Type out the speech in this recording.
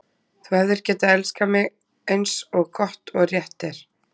Þú hefðir getað elskað mig, eins og gott og rétt er.